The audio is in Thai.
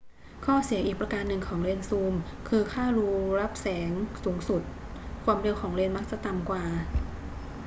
ข้อเสียอีกประการหนึ่งของเลนส์ซูมคือค่ารูรับแสงสูงสุด ความเร็ว ของเลนส์มักจะต่ำกว่า